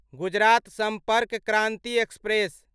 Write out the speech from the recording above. Gujarat Sampark Kranti express